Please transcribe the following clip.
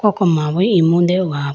koko mu bo imu deho ga po.